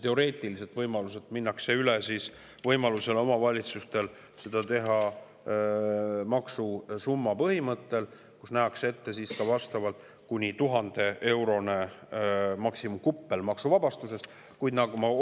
teoreetiliselt võimaluselt pindala põhjal minnakse üle sellele, et omavalitsustel on võimalus teha seda maksusumma põhimõttel, ning nähakse ette ka kuni 1000-eurone maksuvabastuse.